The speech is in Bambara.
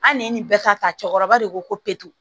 An ne ye nin bɛɛ ta ta cɛkɔrɔba de ko ko putu